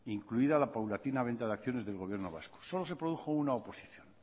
incluida la paulatina venta de acciones del gobierno vasco solo se produjo una oposición